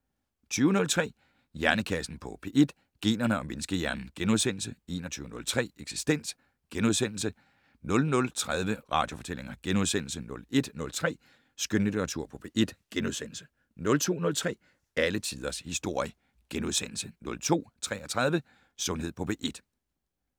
20:03: Hjernekassen på P1: Generne og menneskehjernen * 21:03: Eksistens * 00:30: Radiofortællinger * 01:03: Skønlitteratur på P1 * 02:03: Alle tiders historie * 02:33: Sundhed på P1 *